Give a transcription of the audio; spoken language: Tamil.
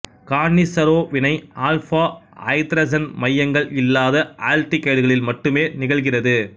கான்னிசரோ வினை ஆல்பா ஐதரசன் மையங்கள் இல்லாத ஆல்டிகைடுகளில் மட்டுமே நிகழ்கிறது